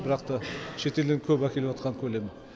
бірақ та шетелден көп әкеліватқан көлем